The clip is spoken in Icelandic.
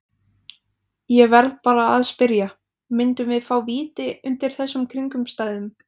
Ég verð bara að spyrja, myndum við fá víti undir þessum kringumstæðum?